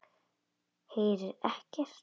Heyri ekkert.